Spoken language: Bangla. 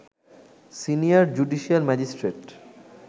senior judicial magistrate